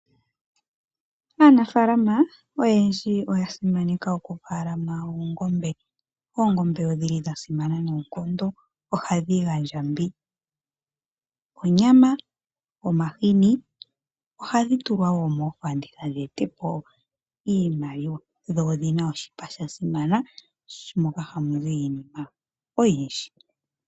Aanafalama oyendji oya simaneka okufalama oongombe. Oongombe odhili dha simana noonkondo, ohadbi gandja mbi: onyama, omahini. Ohadhi tulwa wo moofanditha dhi ete po iimaliwa, dho odhina oshipa sha simana moka hamu zi iinima oyindji.